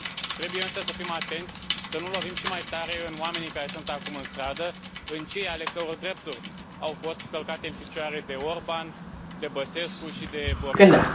Trebuie însă să fim atenți să nu lovim și mai tare în oamenii care sunt acum în stradă, în cei ale căror drepturi au fost călcate în picioare de Orbán, de Băsescu și de Borisov.